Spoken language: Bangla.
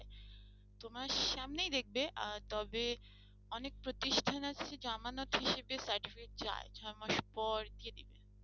তোমার সামনেই দেখবে আহ তবে অনেক প্রতিষ্ঠান আছে জামানত হিসেবে certificate চাই ছয় মাস পর দিয়ে দিবে।